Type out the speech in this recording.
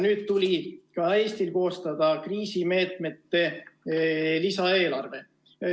Nüüd tuli ka Eestil koostada kriisimeetmete lisaeelarve.